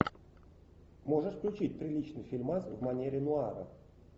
можешь включить приличный фильмас в манере нуара